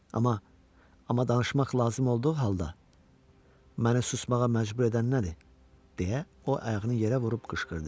Amma, amma danışmaq lazım olduğu halda, mənə susmağa məcbur edən nədir, deyə o ayağını yerə vurub qışqırdı.